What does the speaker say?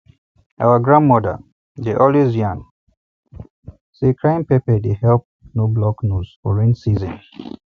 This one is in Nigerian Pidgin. our grandmother um dey always yan um say crying pepper dey help no block nose for rain season